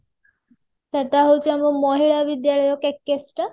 ସେଟା ହାଉଛି ଆମର ମହିଳା ବିଦ୍ୟାଳୟ KKS ଟା